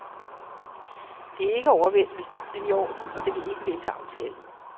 Det er ikke overvældende, men i orden, og det vil ikke vælte aftalen.